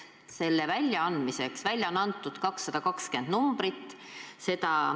Seda on välja antud 220 numbrit.